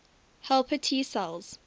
helper t cells